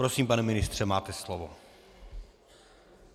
Prosím, pane ministře, máte slovo.